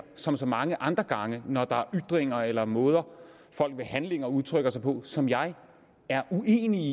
som så mange andre gange når der er ytringer eller måder folk ved handlinger udtrykker sig på som jeg er uenig i